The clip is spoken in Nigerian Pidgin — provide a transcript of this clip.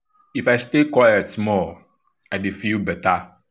if i stay quite small i dey feel better.